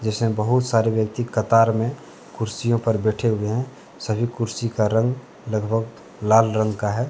इसमें बहुत सारे व्यक्ति कतार में कुर्सियों पर बैठे हुए हैं। सभी कुर्सी का रंग लगभग लाल रंग का है।